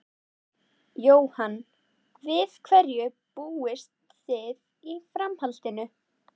Jóhann: Við hverju búist þið í framhaldinu?